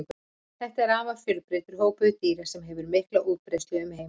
Þetta er afar fjölbreyttur hópur dýra sem hefur mikla útbreiðslu um heim allan.